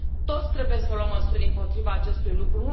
Toți trebuie să luăm măsuri împotriva acestui lucru.